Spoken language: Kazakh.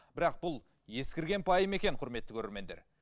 бірақ бұл ескірген пайым екен құрметті көрермендер